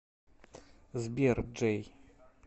сбер джей